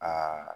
Aa